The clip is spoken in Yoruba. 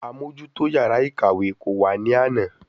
Amójútó yàrá ìkàwé kò wá ní àná.